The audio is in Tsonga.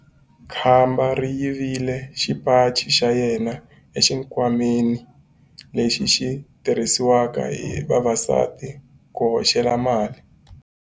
Khamba ri yivile xipaci xa yena exikhwameni lexi xi tirhisiwaka hi vavasati ku hoxela mali.